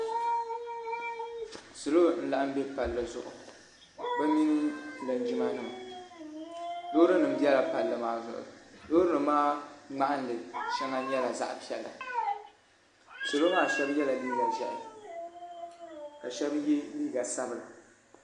Salo n laɣim bɛ palli zuɣu bi mini linjima nima loori nim bɛla palli maa zuɣu loori nim maa ŋmahinli shɛŋa nyɛla zaɣa piɛla salo maa shɛba yɛla liiga ʒiɛhi ka shɛba yɛ liiga sabila.